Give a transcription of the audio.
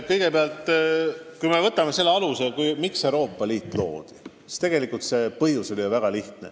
Kõigepealt, kui me mõtleme, miks Euroopa Liit loodi, siis tegelikult põhjus oli väga selge.